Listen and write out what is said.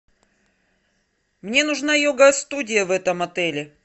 мне нужна йога студия в этом отеле